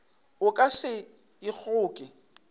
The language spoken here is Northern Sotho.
o ka se e kgoke